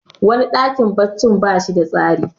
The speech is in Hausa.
wani dakin baccin ba shi da tsari